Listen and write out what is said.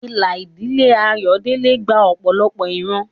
Ìlà ìdílé Ayodele gba ọ̀pọ̀lọpọ̀ ìran.